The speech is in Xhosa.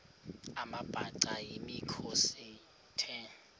amabhaca yimikhosi the